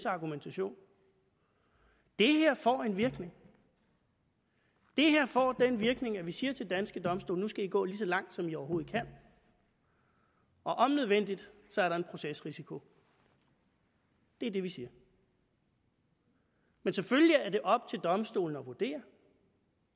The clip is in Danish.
argumentation det her får en virkning det her får den virkning at vi siger til danske domstole nu skal i gå lige så langt som i overhovedet kan og om nødvendigt er der en procesrisiko det er det vi siger men selvfølgelig er det op til domstolene at vurdere